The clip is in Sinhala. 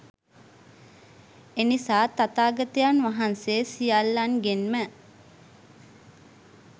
එනිසා තථාගතයන් වහන්සේ සියල්ලන්ගෙන්ම